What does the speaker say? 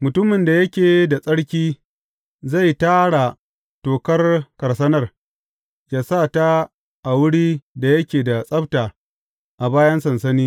Mutumin da yake da tsarki, zai tara tokar karsanar, yă sa ta a wurin da yake da tsabta a bayan sansani.